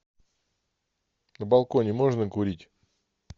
на балконе можно курить